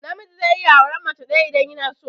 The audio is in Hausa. Namiji zai iya auran mace ɗaya idan yanaso.